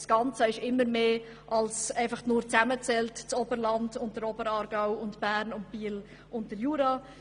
Das Ganze ist immer mehr als eine Addition von Oberland, Oberaargau, Bern, Biel und Jura.